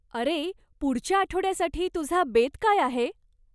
अरे, पुढच्या आठवड्यासाठी तुझा बेत काय आहे?